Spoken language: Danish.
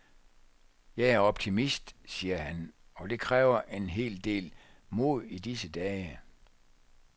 Jeg er optimist, siger han, og det kræver en hel del mod i disse dage.